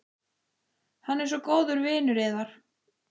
Hann er svo góður vinur yðar.